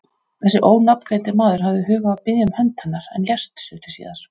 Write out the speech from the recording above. Þessi ónafngreindi maður hafði hug á að biðja um hönd hennar, en lést stuttu síðar.